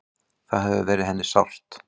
Það hefur verið henni sárt.